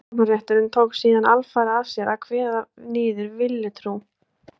Rannsóknarrétturinn tók síðan alfarið að sér að kveða niður villutrú.